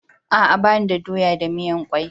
Aa, ba ni da doya da miyan kwai.